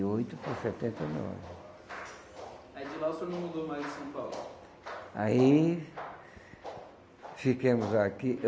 e oito para setenta e nove. Aí de lá o senhor não mudou mais de São Paulo? Aí ficamos aqui.